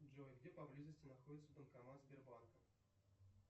джой где поблизости находится банкомат сбербанка